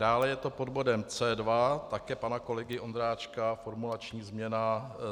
Dále je to pod bodem C2, také pana kolegy Ondráčka, formulační změna.